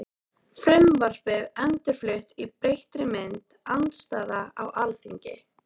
Frumvarpið endurflutt í breyttri mynd- Andstaða á Alþingi